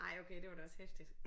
ej okay det var da også heftigt